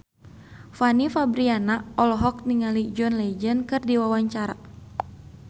Fanny Fabriana olohok ningali John Legend keur diwawancara